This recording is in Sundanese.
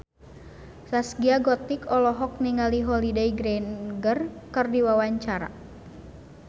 Zaskia Gotik olohok ningali Holliday Grainger keur diwawancara